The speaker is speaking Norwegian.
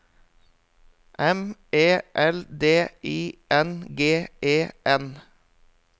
M E L D I N G E N